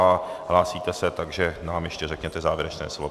A hlásíte se, takže nám ještě řekněte závěrečné slovo.